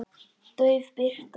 Dauf birta.